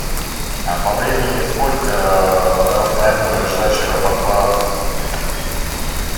а по времени сколько расстояние до ближайшего аэропорта